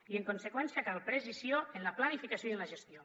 i en conseqüència cal precisió en la planificació i en la gestió